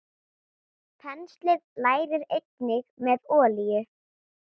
Penslið lærið einnig með olíu.